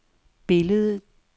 billedet